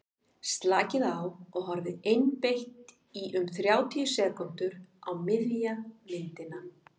slakið á og horfið einbeitt í um þrjátíu sekúndur á miðja myndina